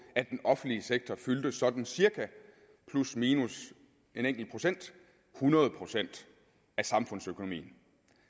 at den offentlige sektor fyldte sådan cirka plusminus en enkelt procent et hundrede procent af samfundsøkonomien